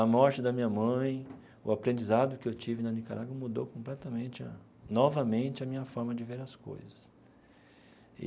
A morte da minha mãe, o aprendizado que eu tive na Nicarágua mudou completamente a, novamente, a minha forma de ver as coisas e.